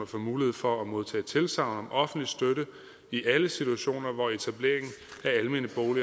få mulighed for at modtage tilsagn om offentlig støtte i alle situationer hvor etablering